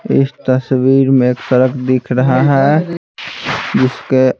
इस तस्वीर में एक सड़क दिख रहा है जिसके--